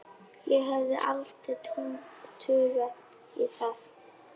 Ég hefði aldrei taugar í það